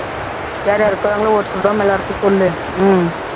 யார் யார் இருக்கிறாங்களோ ஒருத்தர் விடாம எல்லாருக்கும் சொல்லு உம்